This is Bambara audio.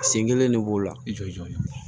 Sen kelen de b'o la jɔnjɔn